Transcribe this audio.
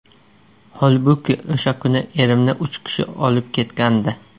Holbuki o‘sha kuni erimni uch kishi olib ketgandi.